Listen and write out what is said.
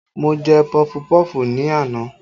Mo jẹ pọfupọ́ọ̀fù ni àná